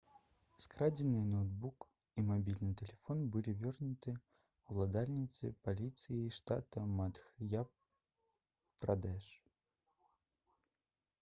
скрадзеныя ноўтбук і мабільны тэлефон былі вернуты ўладальніцы паліцыяй штата мадх'я-прадэш